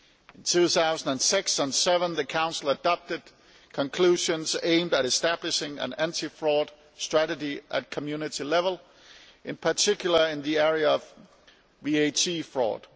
In 2006 and 2007 the Council adopted conclusions aimed at establishing an anti fraud strategy at Community level, in particular in the area of VAT fraud.